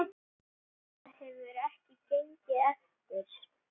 Það hefur ekki gengið eftir.